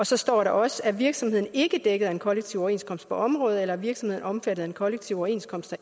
så står der også er virksomheden ikke dækket af en kollektiv overenskomst på området eller er virksomheden omfattet af en kollektiv overenskomst